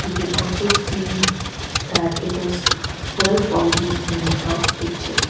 we can also see that it is little foggy in the picture.